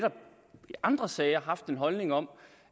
andre sager netop haft en holdning om